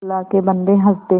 अल्लाह के बन्दे हंस दे